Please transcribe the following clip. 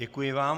Děkuji vám.